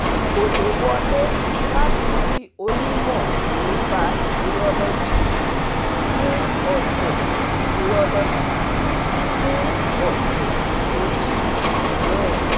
Kò lè wọlé láti rí onímọ̀ nípa urologist fún ọ̀sẹ̀ urologist fún ọ̀sẹ̀ méjì mìíràn